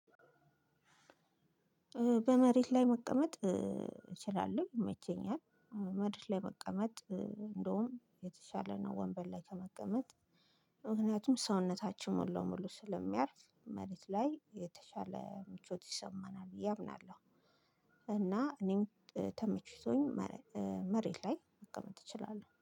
በመሬት ላይ መቀመጥ እችላለሁ ይመቸኛል። መሬት ላይ መቀመጥ እንደውም የተሻለ ነው ወንበር ላይ ከመቀመጥ። ምክንያቱም ሰውነታችን ሙሉ ለሙሉ ስለሚያርፍ መሬት ላይ የተሻለ ምቾት ይሰማናል ብዬ እምናለሁ። እና እኔም ተመቺቶኝ መሬት ላይ መቀመጥ እችላለሁ